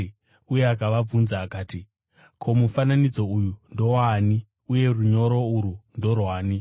uye akavabvunza akati, “Ko, mufananidzo uyu ndowaani uye runyoro urwu ndorwaani?”